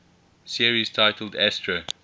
series titled astro